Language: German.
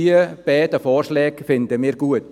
Diese zwei Vorschläge finden wir gut.